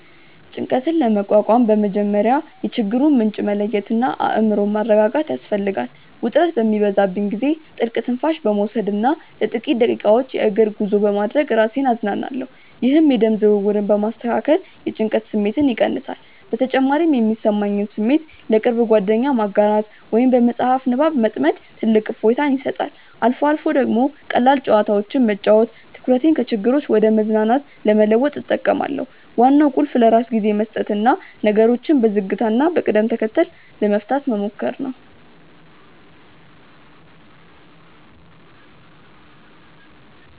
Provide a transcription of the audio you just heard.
ጭንቀትን ለመቋቋም በመጀመሪያ የችግሩን ምንጭ መለየትና አእምሮን ማረጋጋት ያስፈልጋል። ውጥረት በሚበዛብኝ ጊዜ ጥልቅ ትንፋሽ በመውሰድና ለጥቂት ደቂቃዎች የእግር ጉዞ በማድረግ ራሴን አዝናናለሁ። ይህ የደም ዝውውርን በማስተካከል የጭንቀት ስሜትን ይቀንሳል። በተጨማሪም የሚሰማኝን ስሜት ለቅርብ ጓደኛ ማጋራት ወይም በመጽሐፍ ንባብ መጥመድ ትልቅ እፎይታ ይሰጣል። አልፎ አልፎ ደግሞ ቀላል ጨዋታዎችን መጫወት ትኩረቴን ከችግሮች ወደ መዝናናት ለመለወጥ እጠቀማለሁ። ዋናው ቁልፍ ለራስ ጊዜ መስጠትና ነገሮችን በዝግታና በቅደም ተከተል ለመፍታት መሞከር ነው።